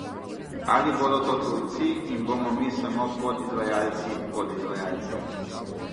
Ali bodo to tujci in bomo mi samo podizvajalci podizvajalcev?